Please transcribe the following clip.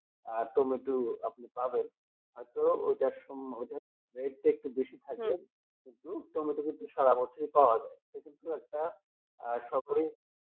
আর tomato আপনি পাবেন হয়তো ওটা সময় rate টা একটু বেশি থাকে কিন্তু টমেটো কিন্তু সারা বছরই পাওয়া যায় এটা কিন্তু একটা আশা করি